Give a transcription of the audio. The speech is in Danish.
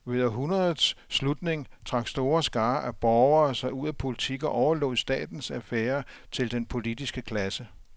Ved århundredets slutning trak store skarer af borgere sig ud af politik og overlod statens affærer til den politiske klasse.